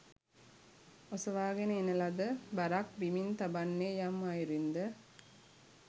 ඔසවාගෙන එන ලද බරක් බිමින් තබන්නේ යම් අයුරින්ද